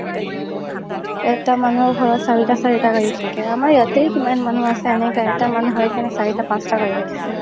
এটা মানুহৰ ঘৰত চাৰিতা চাৰিতা গাড়ী থাকে আমাৰ ইয়াতে কিমান মানুহ আছে এনেকাই এটা মানুহ হয় কিনে চাৰিতা পাচতা গাড়ী ৰাখিছে